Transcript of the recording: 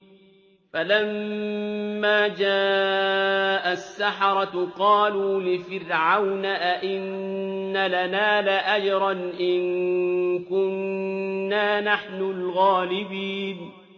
فَلَمَّا جَاءَ السَّحَرَةُ قَالُوا لِفِرْعَوْنَ أَئِنَّ لَنَا لَأَجْرًا إِن كُنَّا نَحْنُ الْغَالِبِينَ